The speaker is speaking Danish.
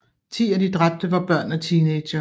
Ti af de dræbte var børn og teenagere